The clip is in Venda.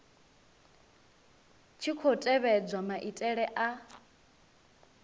tshi khou tevhedzwa maitele a